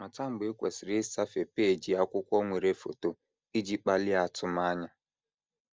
Mata mgbe i kwesịrị ịsafe peeji akwụkwọ nwere foto iji kpalie atụmanya.